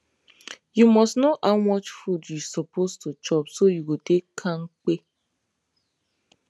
you must know how much food you suppose to chop so you go dey kampe